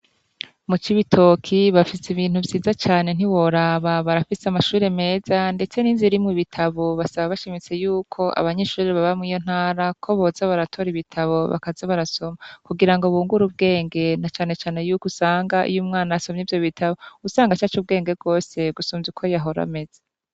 Mu Cibitoki bafise ibintu vyiza ntiworaba, barafise amashure meza ndetse n'inzu irimwo ibitabo, basaba bashimitse yuko abanyeshure baba mwiyo ntara ko boza baratora ibitabo bakaza barasoma kugira ngo bungure ubwenge na cane cane yukusanga umwana iy'asomye ibitabo ucusanga acacubwenge gose gusumvya uko yahora ameze.